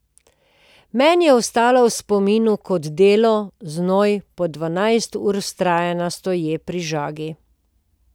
Meni je ostala v spominu kot delo, znoj, po dvanajst ur vztrajanja stoje pri žagi.